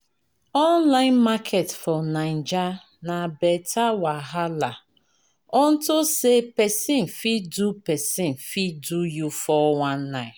Online market for Naija na better wahala, unto say pesin fit do pesin fit do you 419.